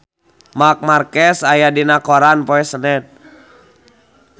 Marc Marquez aya dina koran poe Senen